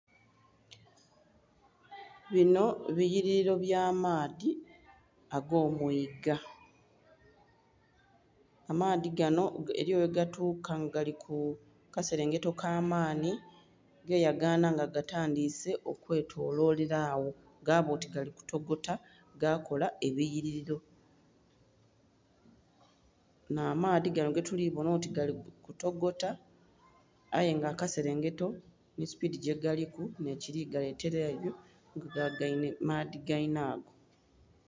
Binho biyirilo bya maadhi ago mwiga, amaadhi ganho eriyo ghe ga tuka nga gali ku kaselengeto ka maanhi geyaganha nga gatandhise okwe tololela agho gaba oti gali ku togota ga kola ebiyirilo, nha maadhi ganho getuli kubonha oti gali ku togota aye nga kaselengeto nhi supidhi gye galiku nhe kili galetera ebyo nga gagainhe maadhi geinhago.